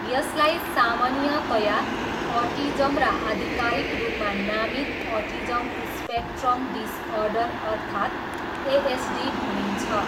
यसलाई सामान्यतया अटिजम र आधिकारिक रूपमा नामित अटिजम स्पेक्ट्रम डिसअर्डर अर्थात् एएसडी भनिन्छ।